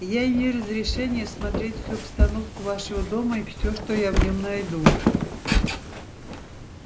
я имею разрешение осмотреть всю обстановку вашего дома и всё что я в нём найду